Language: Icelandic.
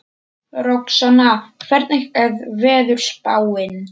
Roxanna, hvernig er veðurspáin?